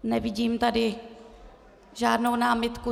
Nevidím tady žádnou námitku.